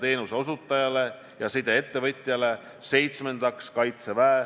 Teine mure on see, et on selgunud, et Euroopas ei ole reanimatsioonikohti piisavalt.